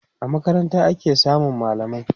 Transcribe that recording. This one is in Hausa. a makaranta ake samun mallamai